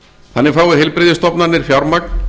þannig fái heilbrigðisstofnanir fjármagn